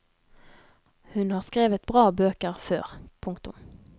Hun har skrevet bra bøker før. punktum